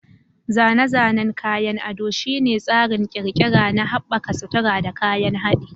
Zane-zanen kayan ado shine tsarin ƙirƙira na haɓaka sutura da kayan haɗi.